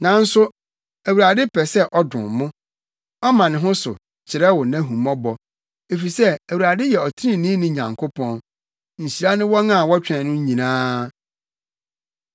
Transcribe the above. Nanso Awurade pɛ sɛ ɔdom mo; ɔma ne ho so, kyerɛ wo nʼahummɔbɔ. Efisɛ Awurade yɛ ɔtreneeni Nyankopɔn. Nhyira ne wɔn a wɔtwɛn no nyinaa!